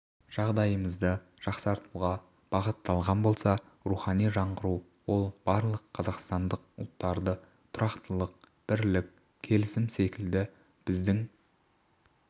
жағдайымызды жақсартуға бағытталған болса рухани жаңғыру ол барлық қазақстандық ұлттарды тұрақтылық бірлік келісім секілді біздің